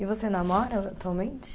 E você namora atualmente?